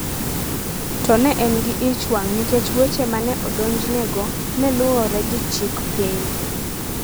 to ne en gi ich wang’ nikech weche ma ne odonjnego ne luwore gi chik piny.